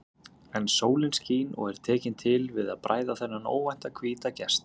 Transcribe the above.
En sólin skín og er tekin til við að bræða þennan óvænta hvíta gest.